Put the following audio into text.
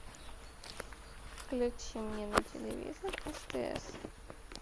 включи мне на телевизоре стс